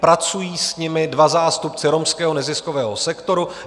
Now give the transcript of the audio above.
Pracují s nimi dva zástupci romského neziskového sektoru.